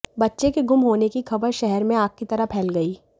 बच्चे के गुम होने की खबर शहर में आग की तरह फैल गई